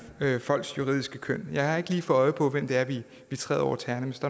folks juridiske køn jeg har ikke lige fået øje på hvem det er vi træder over tæerne hvis